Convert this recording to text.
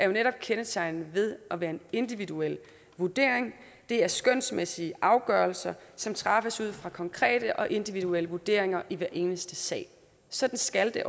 jo netop kendetegnet ved at være en individuel vurdering det er skønsmæssige afgørelser som træffes efter konkrete og individuelle vurderinger i hver eneste sag og sådan skal det